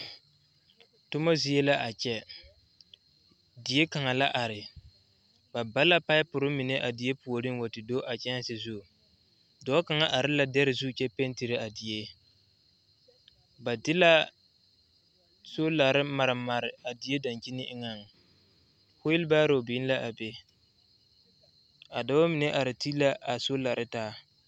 Toma zie la a kyɛ die kaŋ la are ba ba la paɛpɔre mine a wa te do a kyɛŋse zu dɔɔ kaŋ are la dɛre zu kyɛ pɛntire a die ba de la soolare mare mare a die daŋkyine eŋɛŋ fɔlebaaroo biŋ la a be a dɔba mine are te la a soolare taa.